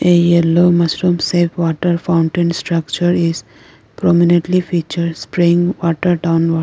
a yellow mushroom shape water fountain structure is prominently features spring water downward.